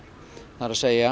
það er